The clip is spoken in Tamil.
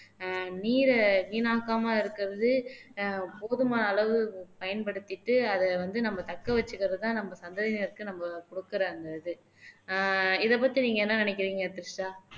அஹ் நீரை வீணாக்காம இருக்கிறது போதுமான அளவு பயன்படுத்திட்டு அத வந்து நம்ம தக்க வச்சுக்கிறதுதான் நம்ம சந்ததியினருக்கு நம்ம கொடுக்கிற அந்த இது அஹ் இத பத்தி நீங்க என்ன நினைக்கிறீங்க த்ரிஷா